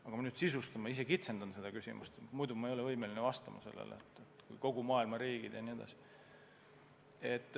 Aga ma nüüd kitsendan seda küsimust, ma ei ole võimeline vastama, kui peaksin silmas pidama kogu maailma riike.